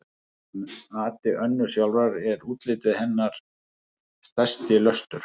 Að mati Önnu sjálfrar er útlitið hennar stærsti löstur.